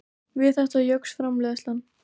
Við þetta jókst framleiðslan.